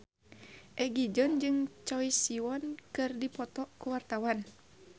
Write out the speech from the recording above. Egi John jeung Choi Siwon keur dipoto ku wartawan